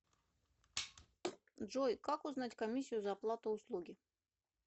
джой как узнать комиссию за оплату услуги